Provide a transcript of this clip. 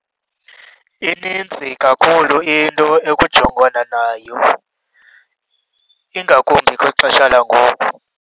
Ininzi kakhulu into ekujongwana nayo ingakumbi kwixesha langoku.